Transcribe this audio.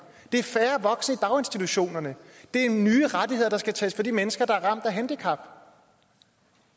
det er færre voksne i daginstitutionerne det er nye rettigheder der skal tages fra de mennesker der er ramt af handicap